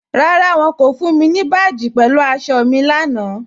Rárá, wọ́n kò fún mi ni báàjì pẹ̀lú àṣọ̀ mi lánà.